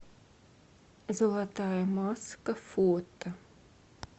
золотая маска фото